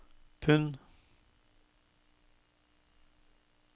pund